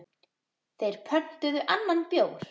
Þeir pöntuðu annan bjór.